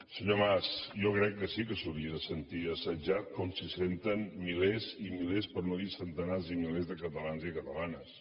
senyor mas jo crec que sí que s’hauria de sentir assetjat com s’hi senten milers i milers per no dir centenars de milers de catalans i catalanes